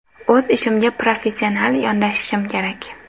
O‘z ishimga professional yondashishim kerak.